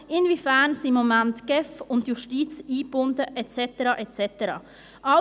Inwiefern sind im Moment die GEF und die Justiz eingebunden et cetera, et cetera?